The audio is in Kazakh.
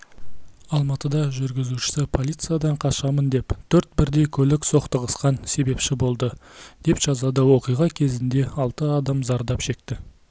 алматыда жүргізушісі полициядан қашамын деп төрт бірдей көлік соқтығысқан себепші болды деп жазады оқиға кезінде алты адам зардап шекті